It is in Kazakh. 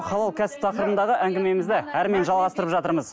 халал кәсіп тақырыбындағы әңгімемізді жалғастырып жатырмыз